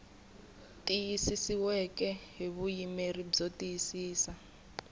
tiyisisiweke hi vuyimeri byo tiyisisa